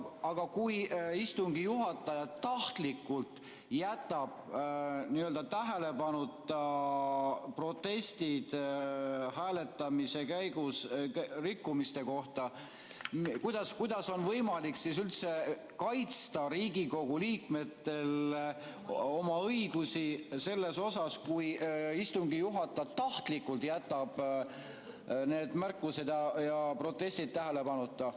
Aga kui istungi juhataja tahtlikult jätab tähelepanuta protestid hääletamise käigus olnud rikkumiste kohta, siis kuidas on võimalik üldse kaitsta Riigikogu liikmetel oma õigusi, kui istungi juhataja tahtlikult jätab need märkused ja protestid tähelepanuta?